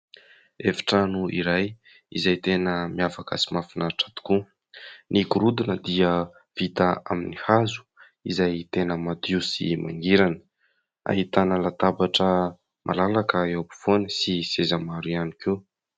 Efitrano iray izay tena miavaka sy mahafinaritra tokoa, ny gorodona dia vita amin'ny hazo izay tena madio sy mangirana, ahitana latabatra malalaka eo ampovoany sy seza maro ihany koa.